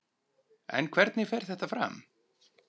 En hvernig fer þetta fram?